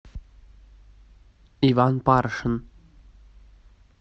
иван паршин